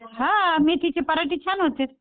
हां मेथीचे पराठे छान होतेत.